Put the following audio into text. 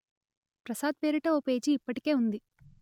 ప్రసాద్ పేరిట ఓ పేజీ ఇప్పటికే ఉంది